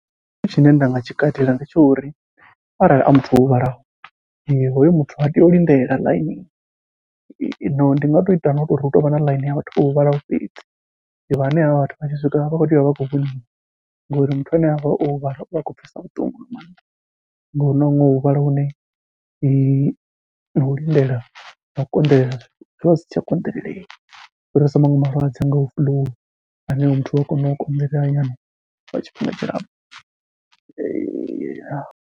Tshithu tshine nda nga tshi katela ndi tsha uri arali a muthu o huvhalaho, hoyu muthu ha tei u lindela ḽaini no ndi nga to ita no to uri hu tovha na ḽaini ya vhathu vho huvhalaho fhedzi, vhane havha vhathu vha tshi swika vha vha kho tea u vha vha khou vhoniwa ngori muthu ane avha o huvhala uvha a khou pfha vhuṱungu nga maanḓa. Ngauri huna huṅwe u huvhala hune nau lindela nau konḓelela zwivha zwi si tsha konḓelela, u fhirisa maṅwe malwadze a ngaho fuḽuu ane oyo muthu ua kona u konḓelela nyana lwa tshifhinga tshilapfhu .